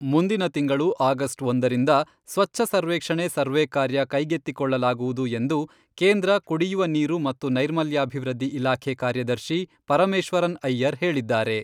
ಮುಂದಿನ ತಿಂಗಳು ಅಗಸ್ಟ್ ಒಂದರಿಂದ ಸ್ವಚ್ಛ ಸರ್ವೇಕ್ಷಣೆ ಸರ್ವೇ ಕಾರ್ಯ ಕೈಗೆತ್ತಿಕೊಳ್ಳಲಾಗುವುದು ಎಂದು ಕೇಂದ್ರ ಕುಡಿಯುವ ನೀರು ಮತ್ತು ನೈರ್ಮಲ್ಯಾಭಿವೃದ್ಧಿ ಇಲಾಖೆ ಕಾರ್ಯದರ್ಶಿ ಪರಮೇಶ್ವರನ್ ಅಯ್ಯರ್ ಹೇಳಿದ್ದಾರೆ.